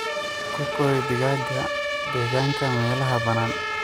Ku kori digaagga deegaanka meelaha bannaan.